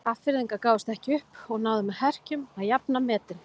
Hafnfirðingar gáfust ekki upp og náðu með herkjum að jafna metin.